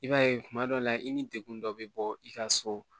I b'a ye kuma dɔ la i ni degun dɔ bɛ bɔ i ka so